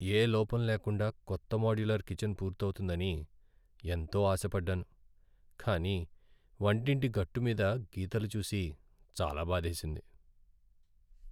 యే లోపంలేకుండా కొత్త మోడ్యులర్ కిచెన్ పూర్తవుతుందని ఎంతో ఆశపడ్డాను. కానీ వంటింటి గట్టు మీద గీతలు చూసి చాలా బాధేసింది.